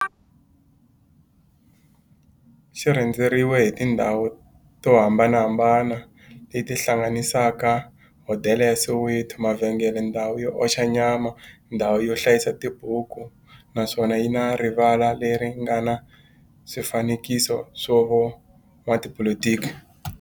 xi rhendzeriwile hi tindhawu to hambanahambana le ti hlanganisaka, hodela ya Soweto-mavhengele-ndhawu yo oxa nyama-ndhawu yo hlayisa tibuku, naswona yi na rivala le ri nga na swifanekiso swa vo n'watipolitiki.